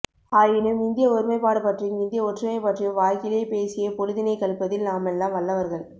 ஆயினும் இந்திய ஒருமைப்பாடு பற்றியும் இந்திய ஒற்றுமை பற்றியும் வாய்கிழிய பேசியே பொழுதினை கழிப்பதில் நாமெல்லாம் வல்லவர்கள்